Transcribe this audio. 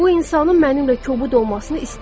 Bu insanın mənimlə kobud olmasını istəmirəm.